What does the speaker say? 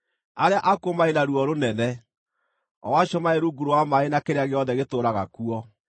“Arĩa akuũ marĩ na ruo rũnene, o acio marĩ rungu rwa maaĩ na kĩrĩa gĩothe gĩtũũraga kuo.